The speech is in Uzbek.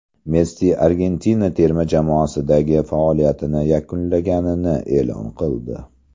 Messi Argentina terma jamoasidagi faoliyatini yakunlaganini e’lon qildi.